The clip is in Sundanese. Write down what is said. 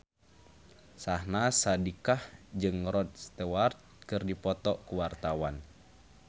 Syahnaz Sadiqah jeung Rod Stewart keur dipoto ku wartawan